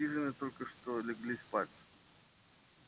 в хижине только что легли спать